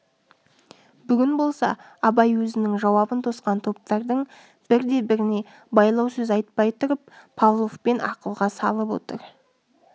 бүгін болса абай өзінің жауабын тосқан топтардың бірде-біріне байлау сөз айтпай тұрып павловпен ақылға салып отыр